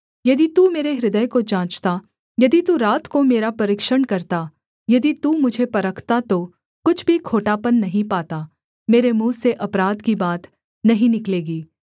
यदि तू मेरे हृदय को जाँचता यदि तू रात को मेरा परीक्षण करता यदि तू मुझे परखता तो कुछ भी खोटापन नहीं पाता मेरे मुँह से अपराध की बात नहीं निकलेगी